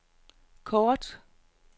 kort